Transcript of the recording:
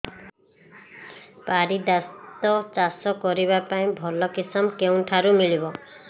ପାରିଜାତ ଚାଷ କରିବା ପାଇଁ ଭଲ କିଶମ କେଉଁଠାରୁ ମିଳିବ